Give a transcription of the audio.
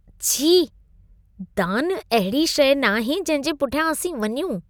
छी! दानु अहिड़ी शइ नाहे जंहिंजे पुठियां असीं वञूं।